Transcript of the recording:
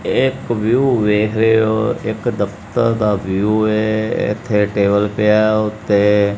ਇਹ ਇੱਕ ਵਿਊ ਵੇਖ ਰਹੇ ਹੋ ਇੱਕ ਦਫ਼ਤਰ ਦਾ ਵਿਊ ਏ ਇੱਥੇ ਟੇਬਲ ਪਿਆ ਉੱਤੇ।